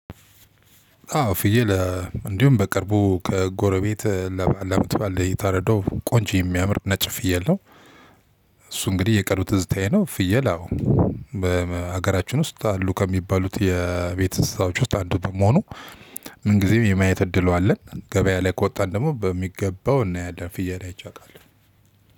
አዎ ፍየል እንዲሁም በቅርቡ ከጎረቤት ለአመት በዓል የታረደው ቆንጆ የሚያምር ነጭ ፍየል ነው። እሱ እንግዲህ የቅርብ ዝታዬ ነው ፍየል አዎ በሀገራችን ውስጥ አሉ ከሚባሉት የቤተሰቦች ውስጥ አንዱ በመሆኑ ምን ጊዜም የማየት እድሉ አለን። ገበያ ላይ ከወጣን ደግሞ በሚገባው እናያለን ፍየል አይቼ አውቃለሁ።